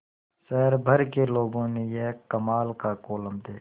शहर भर के लोगों ने यह कमाल का कोलम देखा